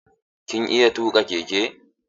Kin iya tuƙa keke?